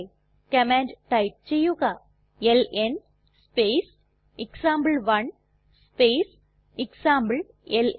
command type ചെയ്യുക ln space example one space എക്സാംപ്ലെൽൻ